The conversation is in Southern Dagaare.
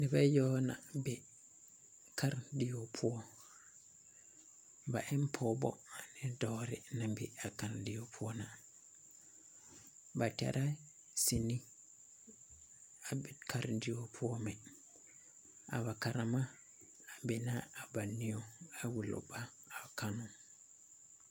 Nebe yawa na be karendie poɔ ba en pɔɔbɔ ane dɔɔbɔ naŋ be a game poɔ ba tara cinema ba karendie poɔ mi a ba katema bena a ba nieo a wulo ba a kannoo.